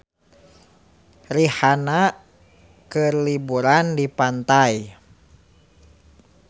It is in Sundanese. Rihanna keur liburan di pantai